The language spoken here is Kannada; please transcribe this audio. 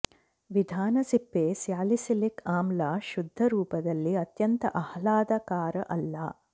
ವಿಧಾನ ಸಿಪ್ಪೆ ಸ್ಯಾಲಿಸಿಲಿಕ್ ಆಮ್ಲ ಶುದ್ಧ ರೂಪದಲ್ಲಿ ಅತ್ಯಂತ ಆಹ್ಲಾದಕರ ಅಲ್ಲ